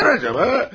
Neden acaba?